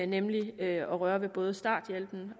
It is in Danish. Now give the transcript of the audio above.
nemlig at røre ved både starthjælpen